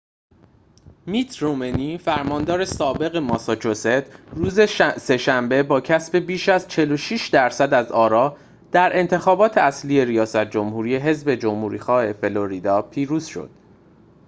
میت رومنی فرماندار سابق ماساچوست روز سه‌شنبه با کسب بیش از ۴۶ درصد از آرا در انتخابات اصلی ریاست جمهوری حذب جمهوری‌خواه فلوریدا پیروز شد